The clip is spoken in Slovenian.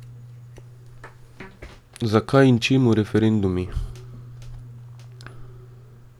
Zakaj in čemu referendumi?